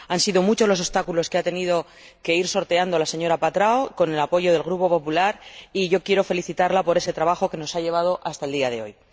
Han sido muchos los obstáculos que ha tenido que ir sorteando la señora Patrão, con el apoyo del Grupo Popular, y quiero felicitarla por ese trabajo que nos ha llevado hasta el día de hoy.